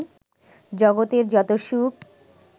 জগতের যত সুখ